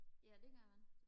ja det gør man